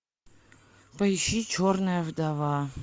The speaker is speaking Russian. поищи черная вдова